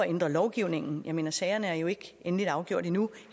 ændre lovgivningen jeg mener sagerne er jo ikke endeligt afgjort endnu